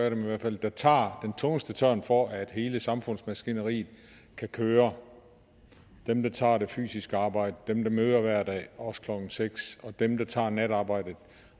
af dem i hvert fald der tager den tungeste tørn for at hele samfundsmaskineriet kan køre dem der tager det fysiske arbejde dem der møder hver dag også klokken seks og dem der tager natarbejdet